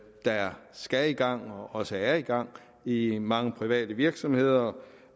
der skal i gang og også er i gang i i mange private virksomheder